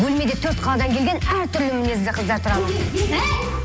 бөлмеде төрт қаладан келген әр түрлі мінезді қыздар тұрамыз әй